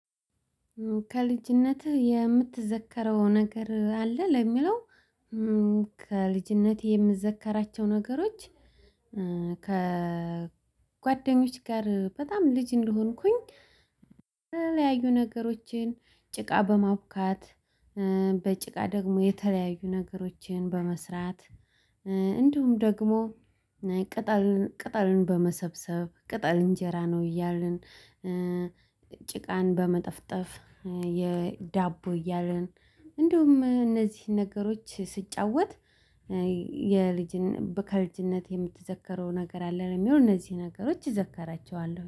ከልጅነትህ የምትዘከረው ነገር አለ ለሚለው? ከልጅነትህ የምዘከራቸው ነገሮች። ከጓደኞች ጋር በጣም ልጅ እንደሆንኩኝ የተለያዩ ነገሮችን ጭቃ በማቡካት በጭቃ ደግሞ የተለያየ ነገሮችን በመስራት። እንደውም ደግሞ ቅጠልን በመሰብሰብ ቅጠል እንጀራ ነው እያልን። ጭቃን በመጠፍጠፍ የዳቦ እያረን እንደውም እነዚህን ነገሮች ስጫወት። የልጅን ከልጅነት የምትዘከረው ነገር አለ የሚሆነው እነዚህ ነገሮች ይዘከራቸዋለሁ